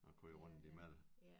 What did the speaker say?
At køre rundt imellem